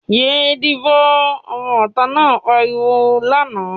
"Yé díbò!", ọmọ ìta náà pariwo lánàá.